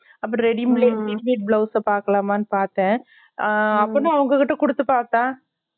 அப்பரம் readymade readymade blouse ஆ பாக்கலாமா பாத்தேன் ஆஹ் அப்படினா அவங்ககிட்ட குடுத்து பாத்தா